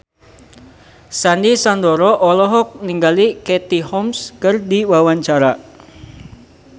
Sandy Sandoro olohok ningali Katie Holmes keur diwawancara